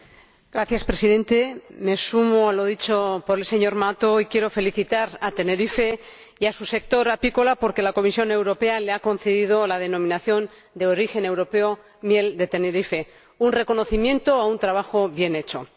Señor Presidente, me sumo a lo dicho por el señor Mato y quiero felicitar a Tenerife y a su sector apícola porque la Comisión Europea ha concedido la denominación de origen europea a la Miel de Tenerife un reconocimiento a un trabajo bien hecho.